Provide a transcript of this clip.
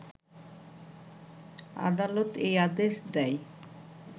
আদালত এই আদেশ দেয়